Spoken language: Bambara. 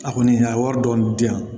A kɔni a ye wari dɔɔni di yan